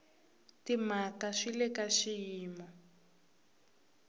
timhaka swi le ka xiyimo